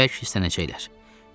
Yəqin ki bərk hirslənəcəklər.